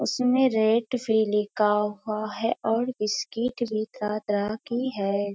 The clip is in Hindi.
उसमे रेट भी लिखा हुआ है और बिस्किट भी रखी है।